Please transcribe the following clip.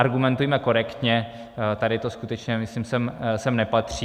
Argumentujme korektně, tady to skutečně, myslím, sem nepatří.